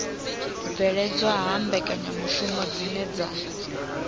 bveledzwa ha mbekanyamishumo dzine dza